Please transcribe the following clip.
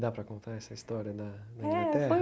Dá para contar essa história da da Inglaterra?